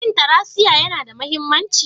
Shin tracia yana da mahimmanci?